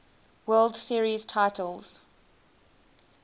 world series titles